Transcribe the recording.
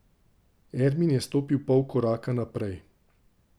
Ermin je stopil pol koraka naprej.